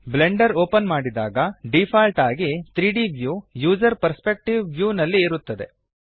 Blender open ಮಾಡಿದಾಗ default ಆಗಿ 3ದ್ ವ್ಯೂ ಯೂಸರ್ ಪರ್ಸ್ಪೆಕ್ಟಿವ್ ವ್ಯೂನಲ್ಲಿ ಇರುತ್ತದೆ